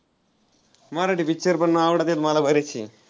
Marathi picture पण आवडत्यात मला बरेचसे.